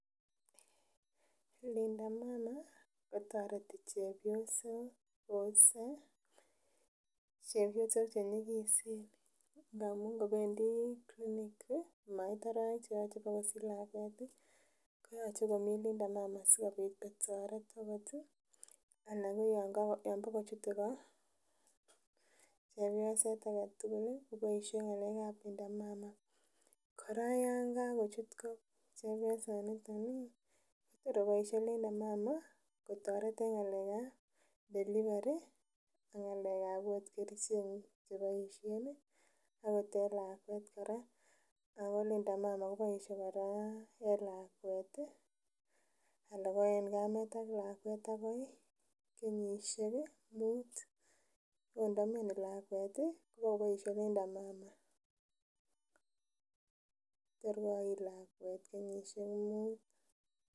Linda Mama kotoreti chepyosok wose chepyosok che nyigisen amun ngobendii clinic komait arowek cheyoche bakosich lakwet ih koyoche komii Linda Mama sikobit kotoret akot ih anan ko yon bokochute ko chepyoset aketugul ih koboisie ng'alek ab Linda Mama kora yan kakochut ko chepyosaniton ih kotor koboisie Linda Mama kotoret Linda Mama en ng'alek ab delivery ak ng'alek ab ot kerichek cheboisien akot en lakwet kora ako Linda Mama koboisie kora en lakwet ih ana ko en kamet ak lakwet akoi kenyisiek muut ot ndomioni lakwet ih kobokoboisie Linda Mama tor koit lakwet kenyisiek muut.